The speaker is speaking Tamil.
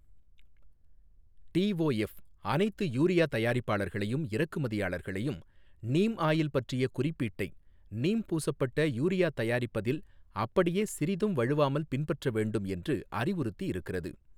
டிஒஎஃப் அனைத்து யூரியா தயாரிப்பாளர்களையும் இறக்குமதியாளர்களையும் நீம் ஆயில் பற்றிய குறிப்பீட்டை நீம் பூசப்பட்ட யூரியா தயாரிப்பதில் அப்படியே சிறிதும் வழுவாமல் பின்பற்ற வேண்டும் என்று அறிவுறுத்தி இருக்கிறது.